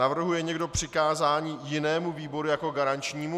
Navrhuje někdo přikázání jinému výboru jako garančnímu?